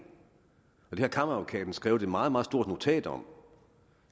det har kammeradvokaten skrevet et meget meget stort notat om